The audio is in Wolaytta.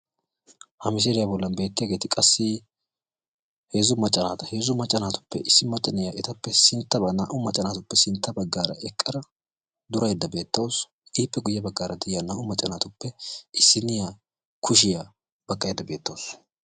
Hagan beettiyagetti maca naata heezzu macca naatuppe issinna ettappe sinttanna durayidde beettawussu hankkotti qassi kushiya baqqosonna.